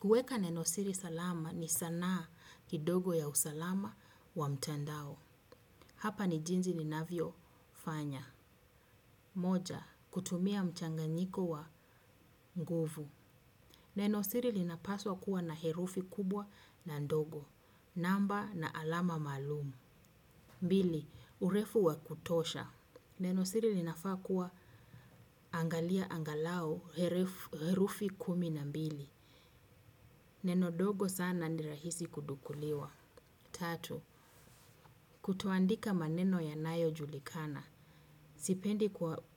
Kuweka nenosiri salama ni sanaa kidogo ya usalama wa mtandao. Hapa ni jinsi ninavyofanya. Moja, kutumia mchanganyiko wa nguvu. Nenosiri linapaswa kuwa na herufi kubwa na ndogo. Namba na alama malumu. Pili, urefu wa kutosha. Nenosiri linafaa kuwa angalau herufi kumi na mbili. Neno dogo sana ni rahisi kugunduliwa. Tatu. Kutoandika maneno ya nayojulikana. Sipendi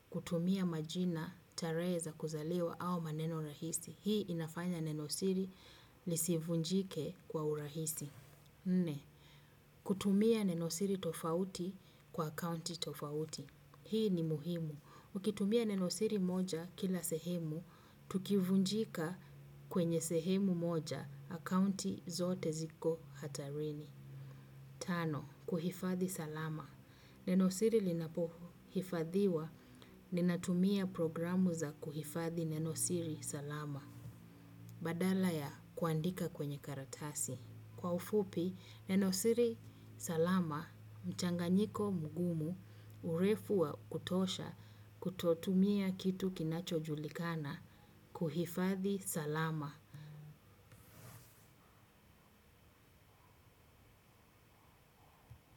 kutumia majina, tarehe za kuzaliwa au maneno rahisi. Hii inafanya nenosiri lisivunjike kwa urahisi. Nne. Kutumia nenosiri tofauti kwa akaunti tofauti. Hii ni muhimu. Ukitumia nenosiri moja kila sehemu, tukivunjika kwenye sehemu moja akounti zote ziko hatarini. Tano, kuhifadhi salama. Nenosiri linapohifadhiwa, ninatumia programu za kuhifadhi nenosiri salama. Badala ya kuandika kwenye karatasi. Kwa ufupi, nenosiri salama, mchanganyiko mgumu, urefu wa kutosha, kutotumia kitu kinachojulikana kuhifadhi salama.